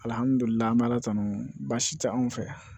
Alamidulilahi an bɛ ala tanu baasi tɛ anw fɛ